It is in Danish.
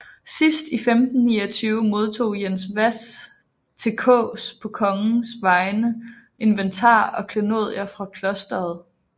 Sidst i 1529 modtog Jens Hvas til Kaas på kongens vegne inventar og klenodier fra klosteret